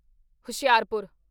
Hoshiarpur